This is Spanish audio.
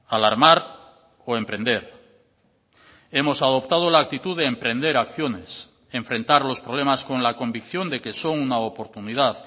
alarmar o emprender hemos adoptado la actitud de emprender acciones enfrentar los problemas con la convicción de que son una oportunidad